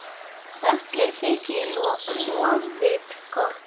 Öllum þykir lofið gott.